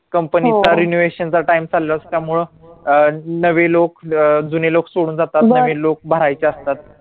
company चा renovation चा time चालाय त्यामुळे अं नवे लोक जुने लोक सोडून जातात नवे लोक भरायचे असतात